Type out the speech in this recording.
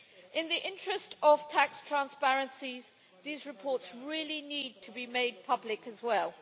In the interest of tax transparencies, these reports really need to be made public as well.